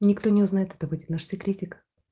никто не узнает это будет наш секретик